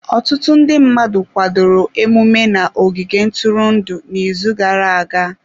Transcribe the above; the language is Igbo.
Ọtụtụ ndị mmadụ kwadoro emume na ogige ntụrụndụ n'izu gara-aga.